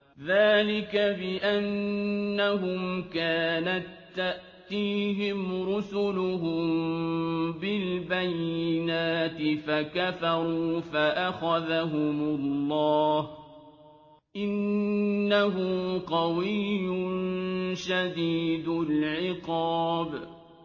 ذَٰلِكَ بِأَنَّهُمْ كَانَت تَّأْتِيهِمْ رُسُلُهُم بِالْبَيِّنَاتِ فَكَفَرُوا فَأَخَذَهُمُ اللَّهُ ۚ إِنَّهُ قَوِيٌّ شَدِيدُ الْعِقَابِ